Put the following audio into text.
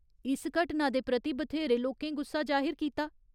इस घटना दे प्रति बथ्हेरे लोकें गुस्सा जाहिर कीता।